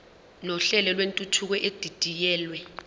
nohlelo lwentuthuko edidiyelwe